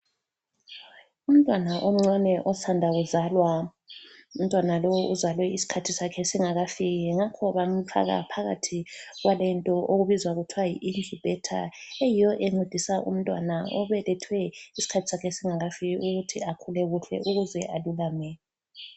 Umntwana omncane osanda kuzalwa. Umntwana lowu uzalwe isikhathi sakhe singakafiki ngakho bamfaka phakathi kwalento okubizwa kuthwa yi incubator, eyiyo encedisa umntwana obelethwe isikhathi sakhe singakafiki ukuthi akhule kuhle ukuze alulame.